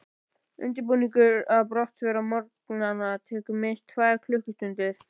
Undirbúningur að brottför á morgnana tekur minnst tvær klukkustundir.